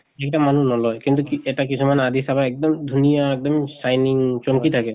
যিকিটা মানুহ নলয়, কিন্তু এটা কিছুমান আদি চাবা এক্দম ধুনীয়া এক্দম shining চমকি থাকে।